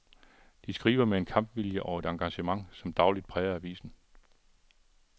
De skriver med en kampvilje og et engagement, som dagligt præger avisen.